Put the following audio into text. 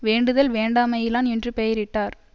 வேண்டுதல் வேண்டாமையிலான் என்று பெயரிட்டார்